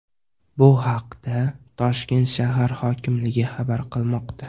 Bu haqda Toshkent shahar hokimligi xabar qilmoqda .